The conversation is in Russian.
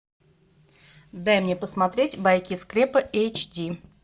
дай мне посмотреть байки из склепа эйч ди